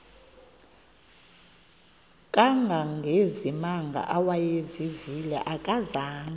kangangezimanga awayezivile akazanga